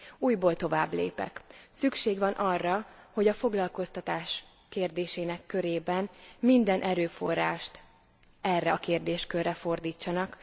Újból továbblépek, szükség van arra, hogy a foglalkoztatás kérdésének körében minden erőforrást erre a kérdéskörre fordítsanak.